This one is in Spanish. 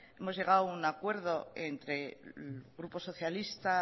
hemos llegado a un acuerdo entre grupo socialista